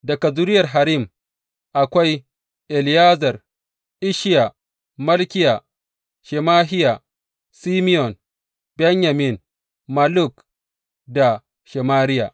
Daga zuriyar Harim, akwai Eliyezer, Isshiya, Malkiya, Shemahiya, Simeyon, Benyamin, Malluk da Shemariya.